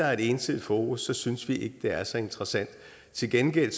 er et ensidigt fokus så synes vi ikke det er så interessant til gengæld